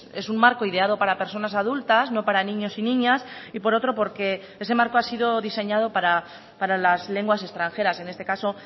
es un marco ideado para personas adultas no para niños y niñas y por otro porque ese marco ha sido diseñado para las lenguas extranjeras en este caso